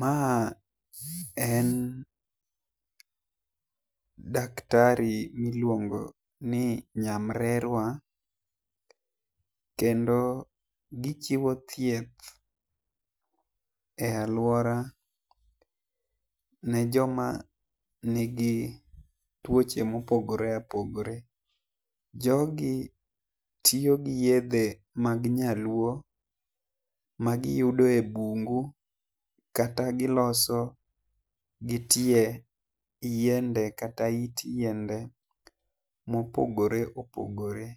Ma en daktari mi iluongo ni nyamrerwa kendo gi chiwo thieth e lauora ne jo ma ni gi tuoche ma opogore apogore. Jogo tiyo gi yedhe mag nyaluo ma gi yudo e bungu kata gi loso gi tie yiende kata it yiende ma opogore opogore